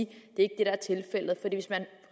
det ikke